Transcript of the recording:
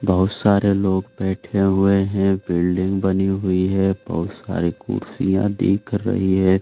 बहुत सारे लोग बैठे हुए हैं। बिल्डिंग बनी हुई है। बहुत सारी कुर्सियां दिख रही हैं।